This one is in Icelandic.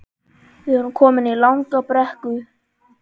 Við vorum komin í langa brekku